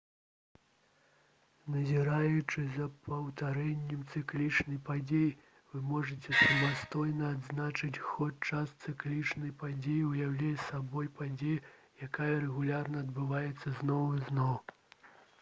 назіраючы за паўтарэннем цыклічнай падзеі вы можаце самастойна адзначыць ход часу цыклічная падзея ўяўляе сабой падзею якая рэгулярна адбываецца зноў і зноў